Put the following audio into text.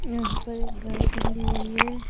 यहाँ पर एक गाय बंधी हुई है।